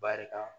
Barika